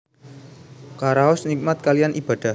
Karaos nikmat kaliyan Ibadah